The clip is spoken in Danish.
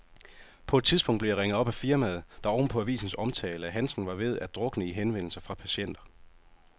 På et tidspunkt blev jeg ringet op af firmaet, der oven på avisens omtale af handsken var ved at drukne i henvendelser fra patienter.